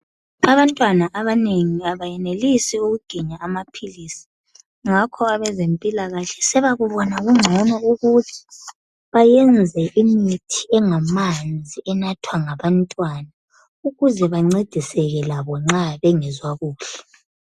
Abantwana abanengi abayenelisi ukuginya amaphilisi ngakho abezempilakahle sebakubona kungcono ukuthi bayenze imithi engamanzi enathwa ngabantwana ukuze bancediseke labo nxa bengezwa kuhle.